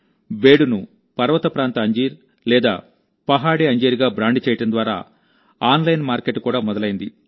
బేడును పర్వత ప్రాంత అంజీర్ లేదా పహాడీ అంజీర్ గా బ్రాండ్ చేయడం ద్వారా ఆన్లైన్ మార్కెట్ కూడా మొదలైంది